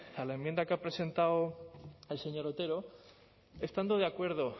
a la enmienda que ha presentado el señor otero estando de acuerdo